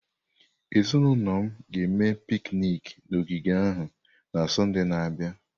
Ezinụlọ m ga-eme piknik na ogige ahụ na Sọnde na-abịa.